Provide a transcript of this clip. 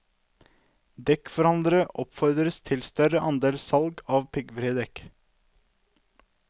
Dekkforhandlere oppfordres til større andel salg av piggfrie dekk.